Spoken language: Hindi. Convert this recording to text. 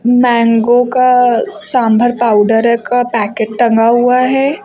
मैंगो का सांभर पाउडर का पैकेट टंगा हुआ है।